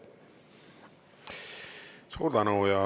Suur tänu!